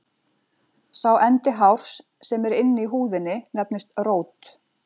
Sá endi hárs sem er inni í húðinni nefnist rót.